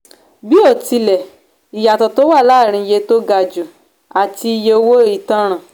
bíótilẹ ìyàtọ̀ tó wà láàárín iye tó ga jù àti iye owó ìtanràn.